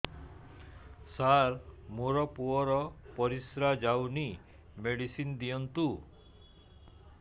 ସାର ମୋର ପୁଅର ପରିସ୍ରା ଯାଉନି ମେଡିସିନ ଦିଅନ୍ତୁ